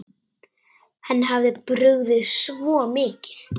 Henni hafði brugðið svo mikið.